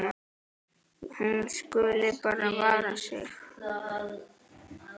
Hún skuli bara vara sig.